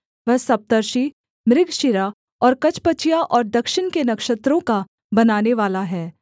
वह सप्तर्षि मृगशिरा और कचपचिया और दक्षिण के नक्षत्रों का बनानेवाला है